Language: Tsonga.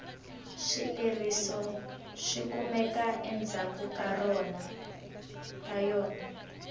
swileriso swikumeka endzhaku ka yona